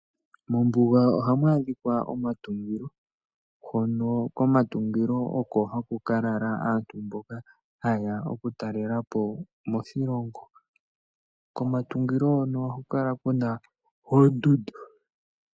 Mombuga ohamu adhika omatungilo hono komatungilo oko haku ka lala aantu mboka haye ya oku talela po moshilongo. Komatungilo hono ohaku kala kuna oondudu.